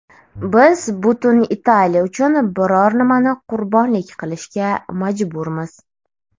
Biz butun Italiya uchun biror nimani qurbonlik qilishga majburmiz.